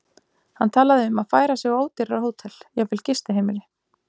Hann talaði um að færa sig á ódýrara hótel, jafnvel gistiheimili.